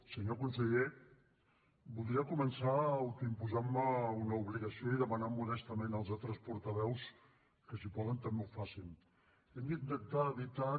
senyor conseller voldria començar autoimposantme una obligació i demanant modestament als altres portaveus que si poden també ho facin hem d’intentar evitar que